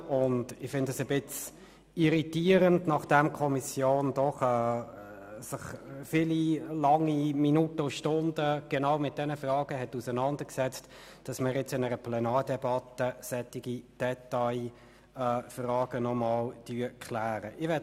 Das finde ich ein bisschen irritierend, insbesondere, wenn wir jetzt in einer Plenardebatte solche Detailfragen klären sollen, nachdem sich die Kommission während vielen Stunden genau mit diesen Fragen auseinandergesetzt hat.